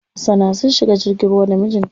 Hasana sun shiga jirgin ruwa da mijin ta.